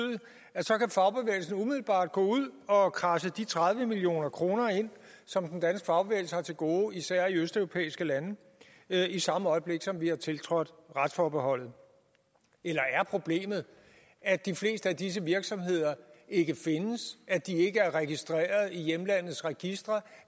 at gå ud og kradse de tredive million kroner ind som den danske fagbevægelse har til gode især i østeuropæiske lande i samme øjeblik som vi har tiltrådt retsforbeholdet eller er problemet at de fleste af disse virksomheder ikke findes at de ikke er registreret i hjemlandets registre